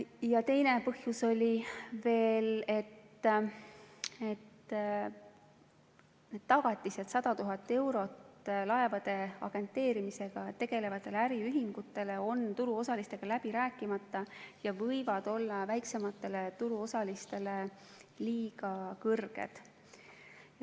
Ja teine põhjus oli veel: need tagatised 100 000 eurot laevade agenteerimisega tegelevatele äriühingutele on turuosalistega läbi rääkimata ja võivad olla väiksematele turuosalistele liiga suured.